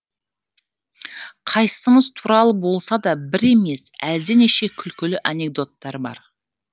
қайсымыз туралы болса да бір емес әлденеше күлкілі анекдоттар бар